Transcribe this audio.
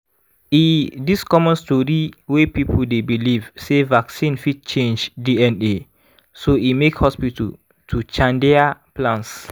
e this common story wey people dey believe sey vaccine fit change dna so emake hospital to chandeir plans.